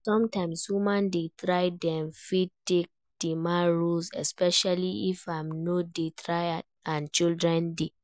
Sometimes women dey try dem fit take di man role especially if im no dey try and children dey